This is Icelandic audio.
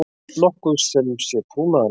nokkuð sem sé trúnaðarmál.